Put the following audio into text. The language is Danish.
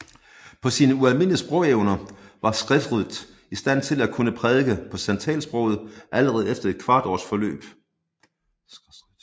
Med sine ualmindelige sprogevner var Skrefsrud i stand til at kunne prædike på santalsproget allerede efter et kvart års forløb